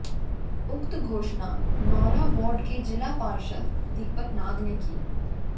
उक्त घोषणा नौरा वार्ड के जिला पार्षद दीपक नाग ने की